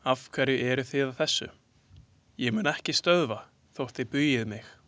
Afhverju eru þið að þessu, ég mun ekki stöðva þótt þið bugið mig!